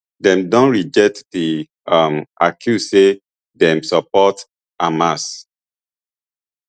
dem don reject di um accuse say dem support hamas